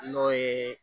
N'o ye